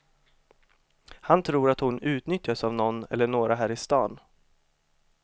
Han tror att hon utnyttjas av nån eller några här i stan.